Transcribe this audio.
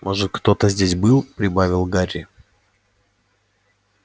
может кто-то здесь был прибавил гарри